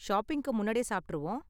ஷாப்பிங்க்கு முன்னாடியே சாப்பிட்டுருவோம்.